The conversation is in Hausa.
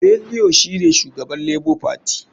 Bellio shine shugaban lebo fati.